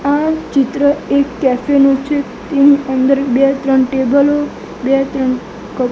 આ ચિત્ર એક કેફે નું છે તેની અંદર બે ત્રણ ટેબલો બે ત્રણ કપ --